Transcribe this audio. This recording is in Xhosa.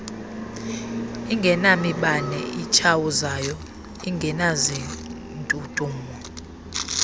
ingenamibane itshawuzayo ingenazindudumo